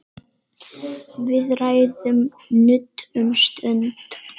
Við ræðum nudd um stund.